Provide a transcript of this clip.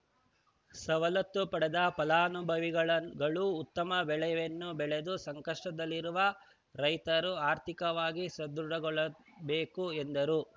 ಸವಲತ್ತು ಪಡೆದ ಫಲಾನುಭವಿಗಳು ಉತ್ತಮ ಬೆಳೆಯನ್ನು ಬೆಳೆದು ಸಂಕಷ್ಟದಲ್ಲಿರುವ ರೈತರು ಆರ್ಥಿಕವಾಗಿ ಸದೃಢಗೊಳ್ಳಬೇಕು ಎಂದರು